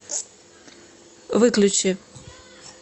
выключи